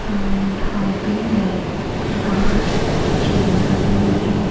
ढाबे में बाहर चेयर लगे हुईं हैं।